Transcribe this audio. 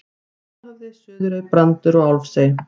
Stórhöfði, Suðurey, Brandur og Álfsey.